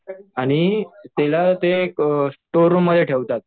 आणि तिला ते एक स्टोअर रूममध्ये ठेवतात.